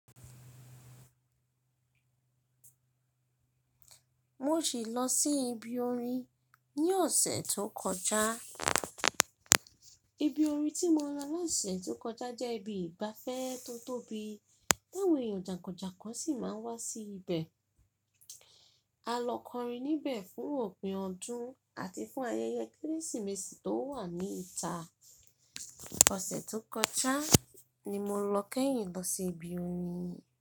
Mo sì lọ sí ibi orin ní ọ̀sẹ̀ tó kọjá. Ibi orin tí mo lọ lọ́sẹ̀ tó kọjá jẹ́ ibi ìgbafẹ́ tó tóbi, tí áwọn èèyàn jàǹkàn jàǹkàn sì máa ń wá sí ibẹ̀. A lọ kọrin níbẹ̀ fún òpin ọdún àti fún ayẹyẹ Kérésìmesì tó wà ní ìta. Ọ̀sẹ̀ tó kọjá ni mo lọ kẹ́yìn lọ sí ibi orin.